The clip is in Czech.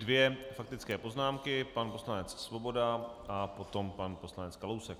Dvě faktické poznámky - pan poslanec Svoboda a potom pan poslanec Kalousek.